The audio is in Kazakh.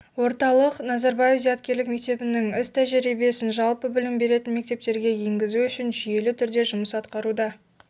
орталық назарбаев зияткерлік мектебінің іс-тәжірибесін жалпы білім беретін мектептерге енгізу үшін жүйелі түрде жұмыс атқаруда